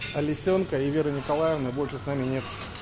а лисёнка и веры николаевны больше с нами нет